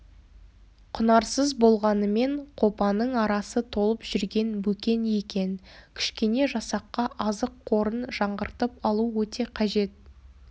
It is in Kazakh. құнарсыз болғанымен қопаның арасы толып жүрген бөкен екен кішкене жасаққа азық қорын жаңғыртып алу өте қажет